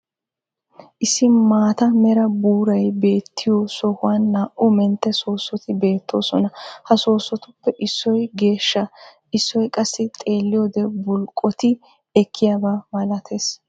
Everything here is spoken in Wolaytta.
Issi maata mera buuray beettiyo sohuwani naa'u mentte soossotti beettosonna. Ha soosottuppe issoy geeshsha, issoy qassi xeelliyode bulqqotti ekiyaaba malattes.